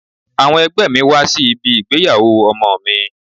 Àwọn ẹgbẹ́ mi wá sí ibi ìgbéyàwó ọmọ mi.